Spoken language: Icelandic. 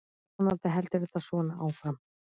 Vonandi heldur þetta svona áfram.